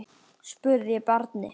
spurði Bjarni.